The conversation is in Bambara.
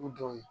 U don